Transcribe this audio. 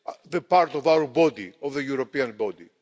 that part of our body of the European body.